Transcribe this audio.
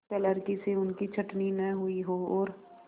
क्लर्की से उनकी छँटनी न हुई हो और